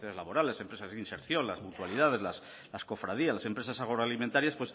laborales empresas de inserción las mutualidades las cofradías las empresas agroalimentarias